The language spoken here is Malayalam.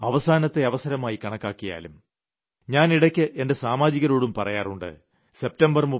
ഇതിനി അവസാനത്തെ അവസരമായി കണക്കാക്കിയാലും ഞാൻ ഇടയ്ക്ക് എന്റെ സാമാജികരോടും പറയാറുണ്ട്